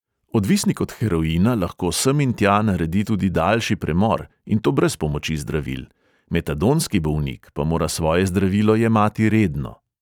Odvisnik od heroina lahko sem in tja naredi tudi daljši premor, in to brez pomoči zdravil, metadonski bolnik pa mora svoje zdravilo jemati redno.